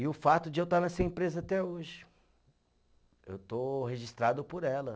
E o fato de eu estar nessa empresa até hoje, eu estou registrado por ela.